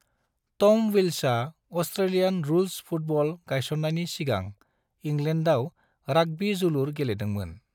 टम Wills अस्ट्रेलियान rules football गायसन्नायनि सिगां इंलेन्डाव राग्बी जोलुर गेलेदोंमोन।